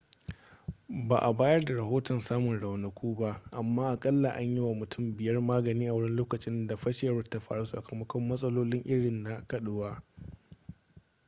ba a bayar da rahoton samun raunuka ba amma akalla an yi wa mutum biyar magani a wurin lokacin da fashewar ta faru sakamakon matsaloli irin na kaduwa